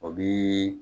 O bi